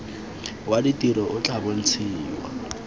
wa ditiro o tla bontshiwa